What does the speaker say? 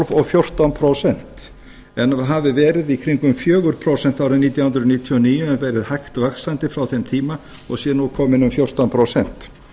og fjórtán prósent en hafi verið í kringum fjögur prósent árið nítján hundruð níutíu og níu en verið hægt vaxandi frá þeim tíma og sé nú kominn um fjórtán prósent